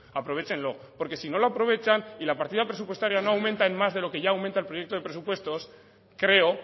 aprovéchenlo porque si no lo aprovechan y la partida presupuestaria no aumenta en más de lo que ya aumenta el proyecto de presupuestos creo